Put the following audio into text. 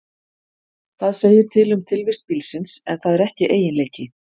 Það segir til um tilvist bílsins, en það er ekki eiginleiki.